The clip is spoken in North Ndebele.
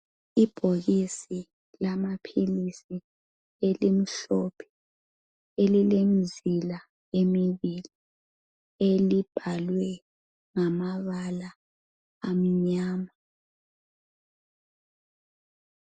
Ibhokisi lamaphilisi elimhlophe elilemzila emibili elibhalwe ngamabala amnyama